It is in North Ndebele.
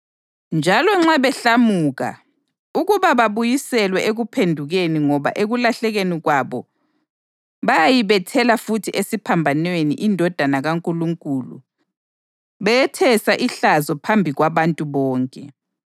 njalo nxa behlamuka ukuba babuyiselwe ekuphendukeni ngoba ekulahlekelweni kwabo bayayibethela futhi esiphambanweni iNdodana kaNkulunkulu beyethesa ihlazo phambi kwabantu bonke.